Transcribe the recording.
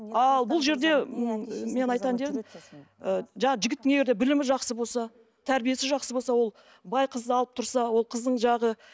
ал бұл жерде м мен айтайын деп едім ы жаңағы жігіттің егер де білімі жақсы болса тәрбиесі жақсы болса ол бай қызды алып тұрса ол қыздың жаңағы